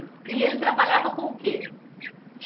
E ele trabalhava com o quê?